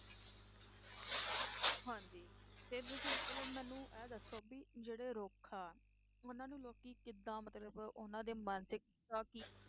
ਤੇ ਤੁਸੀਂ ਹੁਣ ਮੈਨੂੰ ਇਹ ਦੱਸੋ ਵੀ ਜਿਹੜੇ ਰੁੱਖ ਆ, ਉਹਨਾਂ ਨੂੰ ਲੋਕੀ ਕਿੱਦਾਂ ਮਤਲਬ ਉਹਨਾਂ ਦੇ ਮਾਨਸਿਕਤਾ ਕੀ,